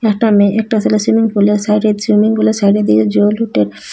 একটা মেয়ে একটা সেলে সুইমিং পুলের সাইডে সুইমিং পুলের সাইডের দিকে জল উঠে।